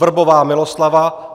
Vrbová Miloslava